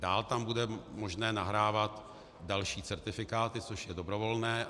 Dál tam bude možné nahrávat další certifikáty, což je dobrovolné.